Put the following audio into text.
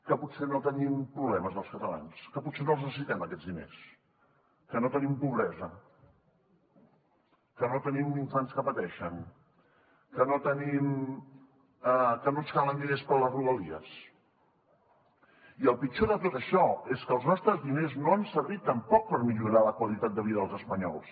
que potser no tenim problemes els catalans que potser no els necessitem aquests diners que no tenim pobresa que no tenim infants que pateixen que no ens calen diners per a les rodalies i el pitjor de tot això és que els nostres diners no han servit tampoc per millorar la qualitat de vida dels espanyols